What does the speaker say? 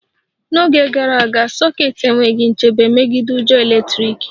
N'oge gara aga, sokets enweghị nchebe megide ujo eletrik